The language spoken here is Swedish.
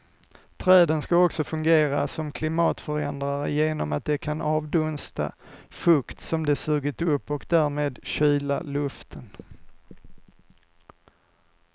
Träden ska också fungera som klimatförändrare genom att de kan avdunsta fukt som de sugit upp och därmed kyla luften.